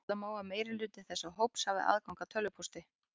Ætla má að meirihluti þessa hóps hafi aðgang að tölvupósti.